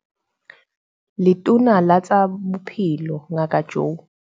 Letona la tsa Bophelo Ngaka Joe